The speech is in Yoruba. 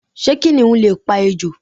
Sé kìnìún lè pa ejò?